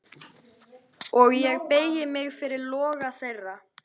Og ég beygi mig fyrir loga þeirra.